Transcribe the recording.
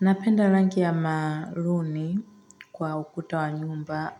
Napenda rangi ya maruni kwa ukuta wa nyumba